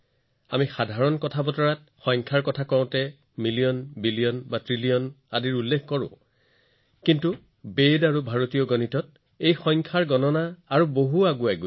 সাধাৰণ ভাষাত যেতিয়া আমি সংখ্যা আৰু অংকৰ কথা কওঁ আমি এক নিযুত বিলিয়ন আৰু ট্ৰিলিয়ন লৈকে কথা কওঁ আৰু চিন্তা কৰোঁ কিন্তু বেদ আৰু ভাৰতীয় গণিতত এই গণনাবোৰ বহুদূৰ আগুৱাই যায়